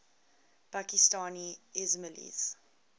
pakistani ismailis